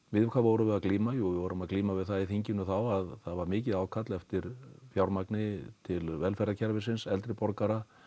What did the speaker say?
við hvað vorum við að glíma jú við vorum að glíma við það á þinginu þá að það var mikið ákall eftir fjármagni til velferðarkerfisins eldri borgara